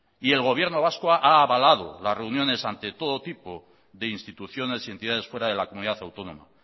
y el gobierno vasco ha avalado las reuniones ante todo tipo de instituciones y entidades fuera de la comunidad autónoma